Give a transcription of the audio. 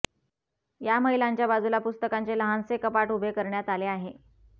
या महिलांच्या बाजूला पुस्तकांचे लहानसे कपाट उभे करण्यात आले आहे